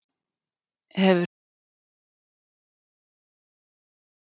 Hefur þetta nokkuð með málefni Álftaness að gera?